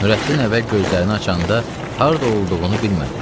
Nurəddin əvvəl gözlərini açanda harada olduğunu bilmədi.